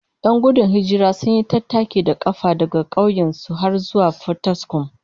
Yan gudun hijirar sun yi tattaki da kafa daga kauyen su har zuwa Fataskuma